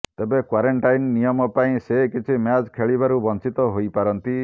ତେବେ କ୍ବାରେଣ୍ଟାଇନ୍ ନିୟମ ପାଇଁ ସେ କିଛି ମ୍ୟାଚ୍ ଖେଳିବାରୁ ବଞ୍ଚିତ ହୋଇପାରନ୍ତି